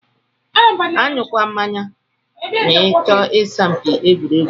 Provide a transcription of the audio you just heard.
Anyu kwana mmanya ma ichọ isa mpi egwuregwu.